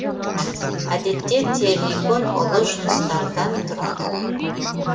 әдетте террикон ұлы жыныстардан тұрады